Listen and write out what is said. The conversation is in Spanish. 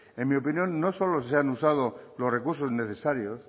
en mi opinión no solo se han usado los recursos necesarios